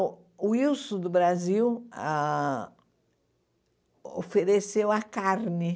O Ilson do Brasil ah ofereceu a carne.